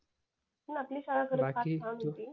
पण आपली शाळा